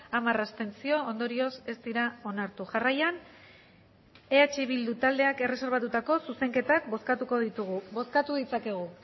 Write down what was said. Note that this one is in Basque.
hamar abstentzio ondorioz ez dira onartu jarraian eh bildu taldeak erreserbatutako zuzenketak bozkatuko ditugu bozkatu ditzakegu